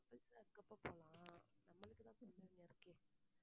couples ஆ இருக்கப்போ போலாம் நம்மளுக்கு தான் குழந்தைங்க இருக்கே